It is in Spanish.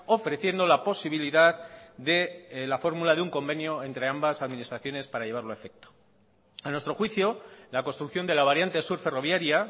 ofreciendo la posibilidad de la fórmula de un convenio entre ambas administraciones para llevarlo a efecto a nuestro juicio la construcción de la variante sur ferroviaria